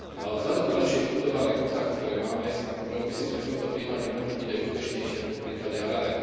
Vzhľadom na lepšie vybudované kontakty, ktoré máme s Kambodžou, myslím si, že v tomto prípade môžeme byť aj úspešnejší, ako v prípade Harare.